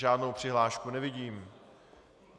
Žádnou přihlášku nevidím.